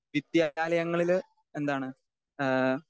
Speaker 2 വിദ്യാലയങ്ങളില് എന്താണ്? ഏഹ്